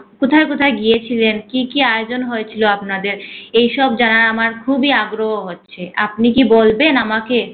কোথায় কোথায় গিয়েছিলেন কি কি আয়োজন হয়েছিল আপনাদের। এসব জানার আমরা খুবি আগ্রহ হচ্ছে। আপনি কি বলবেন আমাকে